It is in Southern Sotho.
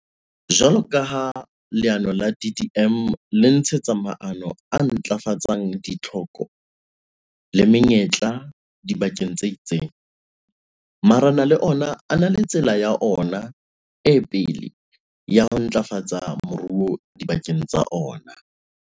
Jwalo ka ha leano la DDM le tshehetsa maano a ntlafatsang ditlhoko le menyetla dibakeng tse itseng, marena le ona a na le tsela ya ona e pele ya ho ntlafatsa moruo dibakeng tsa ona.